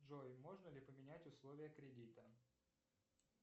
джой можно ли поменять условия кредита